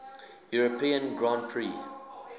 european grand prix